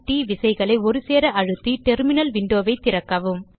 CtrlAltT விசைகளை ஒருசேர அழுத்தி டெர்மினல் windowஐ திறக்கவும்